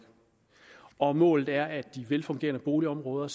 og målet er at de velfungerende boligområder